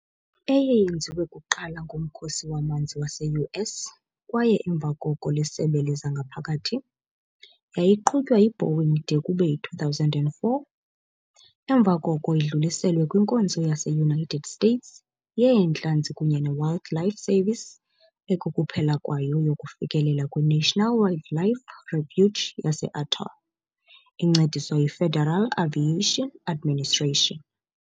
Eyeyenziwe kuqala nguMkhosi waManzi wase-US kwaye emva koko liSebe lezangaphakathi, yayiqhutywa yi -Boeing de kube yi-2004, emva koko idluliselwe kwiNkonzo yase-United States yeentlanzi kunye ne-Wildlife Service ekukuphela kwayo yokufikelela kwi-National Wildlife Refuge yase-Atoll, incediswa yiFederal Aviation Administration.